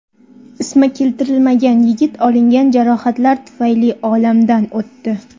Ismi keltirilmagan yigit olingan jarohatlar tufayli olamdan o‘tdi.